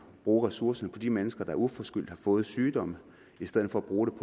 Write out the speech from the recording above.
bruge ressourcerne på de mennesker der uforskyldt har fået sygdomme i stedet for at bruge